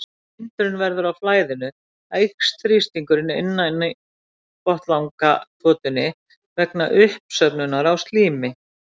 Þegar hindrun verður á flæðinu eykst þrýstingurinn innan í botnlangatotunni vegna uppsöfnunar á slími.